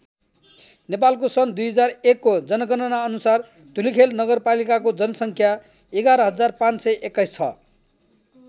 नेपालको सन् २००१ को जनगणना अनुसार धुलिखेल नगरपालिकाको जनसङ्ख्या ११५२१ छ।